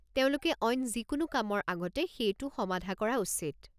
তেওঁলোকে অইন যিকোনো কামৰ আগতে সেইটো সমাধা কৰা উচিত।